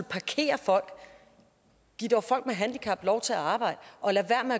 parkere folk giv dog folk med handicap lov til at arbejde og lad være